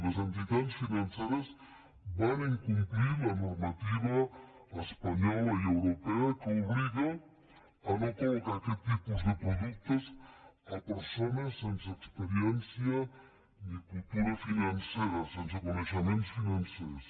les entitats financeres van incomplir la normativa espanyola i europea que obliga a no col·locar aquest tipus de productes a persones sense experiència ni cultura financera sense coneixements financers